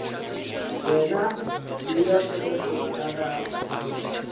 wena bea tshepo ya gago